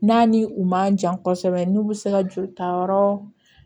N'a ni u man jan kosɛbɛ n'u bɛ se ka joli ta yɔrɔ